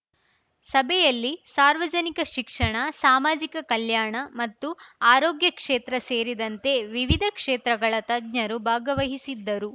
ಸಭೆಯಲ್ಲಿ ಸಾರ್ವಜನಿಕ ಶಿಕ್ಷಣ ಸಾಮಾಜಿಕ ಕಲ್ಯಾಣ ಮತ್ತು ಆರೋಗ್ಯ ಕ್ಷೇತ್ರ ಸೇರಿದಂತೆ ವಿವಿಧ ಕ್ಷೇತ್ರಗಳ ತಜ್ಞರು ಭಾಗವಹಿಸಿದ್ದರು